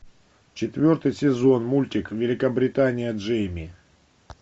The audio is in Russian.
четвертый сезон мультик великобритания джейми